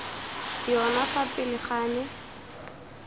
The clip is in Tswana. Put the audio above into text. yona fa pele ga me